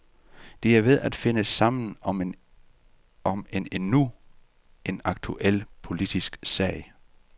De er ved at finde sammen om endnu en aktuel, politisk sag.